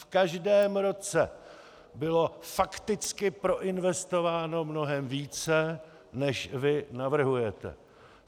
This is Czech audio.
V každém roce bylo fakticky proinvestováno mnohem více, než vy navrhujete.